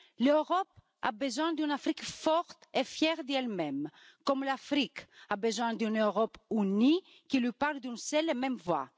L'Europe a besoin d'une Afrique forte et fière d'elle même, comme l'Afrique a besoin d'une Europe unie qui lui parle d'une seule et même voix.